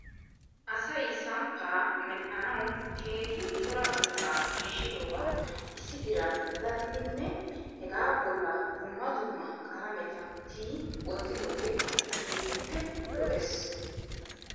Asay samppaa medhdhanaw keehi cora buuxaa shiishshidoogaa issi diran daddidinne hegaa bolla dumma dumma qalameta tiyi wottidoogee keehippe lo'es .